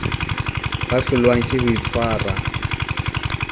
ba hlolwang ke ho itshwara